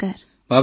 Bhavna ji